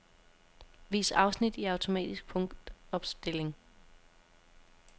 Vis afsnit i automatisk punktopstilling.